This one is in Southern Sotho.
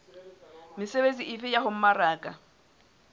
mesebetsi efe ya ho mmaraka